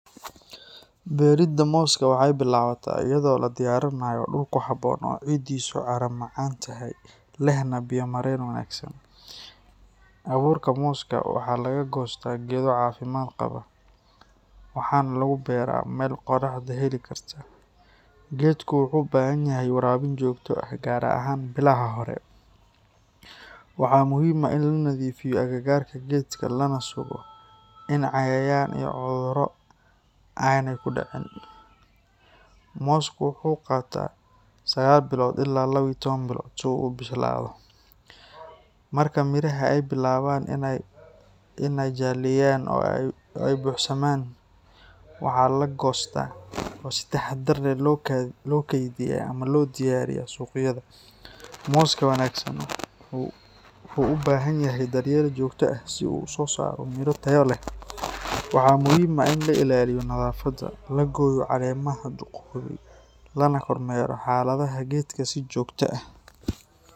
Beeridda mooska waxay bilaabataa iyadoo la diyaarinayo dhul ku habboon oo ciiddiisu carro-macaan tahay lehna biyo-mareen wanaagsan. Abuurka mooska waxa laga goostaa geedo caafimaad qaba, waxaana lagu beeraa meel qorraxda heli karta. Geedku wuxuu u baahan yahay waraabin joogto ah, gaar ahaan bilaha hore. Waxaa muhiim ah in la nadiifiyo agagaarka geedka lana sugo in cayayaan iyo cudurro aanay ku dhicin. Moosku wuxuu qaataa sagal ila iyo lawa iyo toban bilood si uu u bislaado. Marka midhaha ay bilaabaan inay jaalleeyaan oo ay buuxsamaan, waxaa la goostaa oo si taxaddar leh loo kaydiyaa ama loo diraa suuqyada. Mooska wanaagsan wuxuu u baahan yahay daryeel joogto ah si uu u soo saaro midho tayo leh. Waxaa muhiim ah in la ilaaliyo nadaafadda, la gooyo caleemaha duugoobay, lana kormeero xaaladda geedka si joogto ah.